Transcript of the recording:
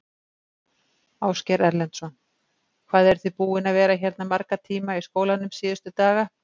Ásgeir Erlendsson: Hvað eruð þið búin að vera hérna marga tíma í skólanum síðustu daga?